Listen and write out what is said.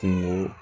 Kungo